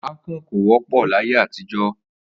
Àkan kò wó̩pò̩ láyé àtijó̩.